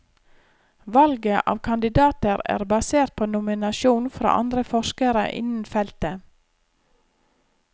Valget av kandidater er basert på nominasjon fra andre forskere innen feltet.